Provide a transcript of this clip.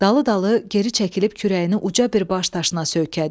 Dalı-dalı geri çəkilib kürəyini uca bir baş daşına söykədi.